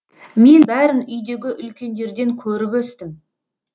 мен бәрін үйдегі үлкендерден көріп өстім